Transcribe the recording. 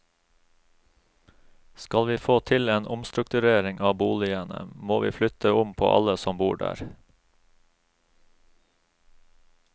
Skal vi få til en omstrukturering av boligene, må vi flytte om på alle som bor der.